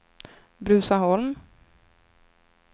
Bruzaholm